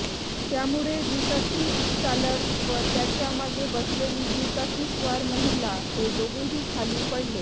त्यामुळे दुचाकीचालक व त्याच्या मागे बसलेली दुचाकीस्वार महिला हे दोघेही खाली पडले